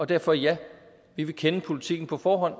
derfor ja vi vil kende politikken på forhånd